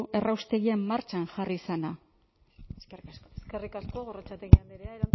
erraustegia martxan jarri izana eskerrik asko eskerrik asko gorrotxategi andrea